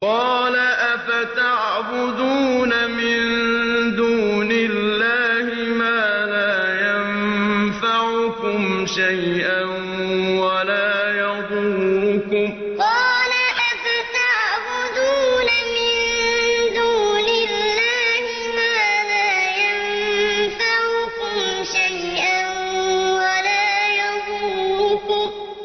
قَالَ أَفَتَعْبُدُونَ مِن دُونِ اللَّهِ مَا لَا يَنفَعُكُمْ شَيْئًا وَلَا يَضُرُّكُمْ قَالَ أَفَتَعْبُدُونَ مِن دُونِ اللَّهِ مَا لَا يَنفَعُكُمْ شَيْئًا وَلَا يَضُرُّكُمْ